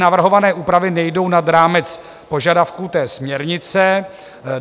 Navrhované úpravy nejdou nad rámec požadavků té směrnice.